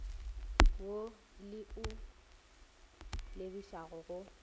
wo le o lebišago go